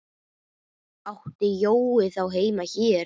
Átti Jói þá heima hér?